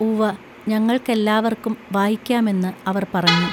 ഉവ്വ ഞങ്ങൾക്കെല്ലാവർക്കും വായിക്കാമെന്ന് അവർ പറഞ്ഞു.